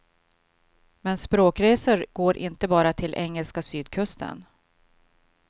Men språkresor går inte bara till engelska sydkusten.